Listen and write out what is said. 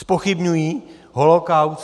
Zpochybňují holokaust.